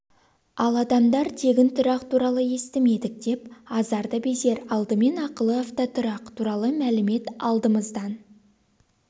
ал адамдар тегін тұрақ туралы естімедік деп азар да безер алдымен ақылы автотұрақ туралы мәлімет алдымыздан